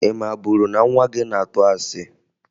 Ị maburu na nwa gị na-atụ asị?